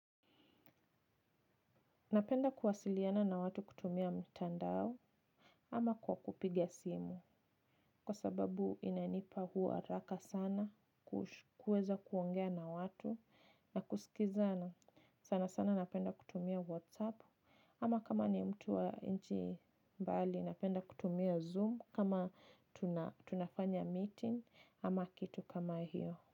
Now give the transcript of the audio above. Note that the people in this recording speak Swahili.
Napenda kuwasiliana na watu kutumia mtandao. Ama kwa kupigia simu kwa sababu inanipa huu haraka sana. Kuweza kuongea na watu. Na kusikizana sana sana napenda kutumia whatsapp. Ama kama ni mtu wa nchi bali napenda kutumia zoom kama tunafanya meeting ama kitu kama hiyo.